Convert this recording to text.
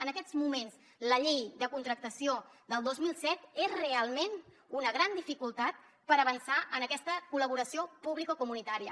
en aquests moments la llei de contractació del dos mil set és realment una gran dificultat per avançar en aquesta col·laboració publicocomunitària